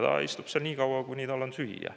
Ta istub seal nii kaua, kuni tal on süüa.